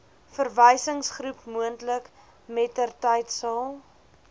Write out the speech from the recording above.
verwysingsgroep moontlik mettertydsal